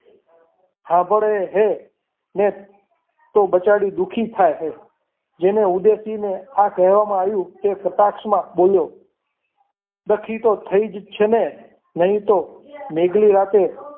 સાંભળે હે અને એ તો બચાવી દુઃખી થાય છે જેને ઉદાસીને આ કહેવામાં આવ્યું ને તે કટાક્ષમાં બોલ્યો દખી તો થઈ જ છે ને નહીં તો મેઘની રાતે